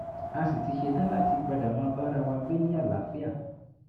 a sì ti ṣetán láti padà máa bára wa gbé ní àlàáfíà